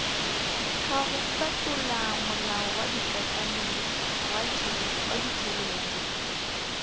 kago fetola molaokakanywa wa ditšhelete